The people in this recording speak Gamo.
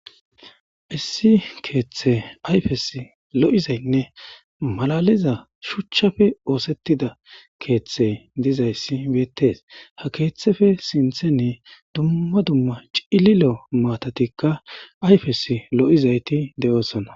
Issi keeththe ayfes lo'izaynne malaliza shuchchafe oosettida keeththe dizayssi beettes ha keeththefe sinthene dumma dumma cililo maatatikka ayfes lo'izayti de'oosona